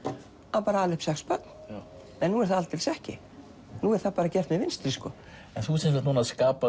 að ala upp sex börn en nú er það alls ekki nú er það bara gert með vinstri þú ert núna að skapa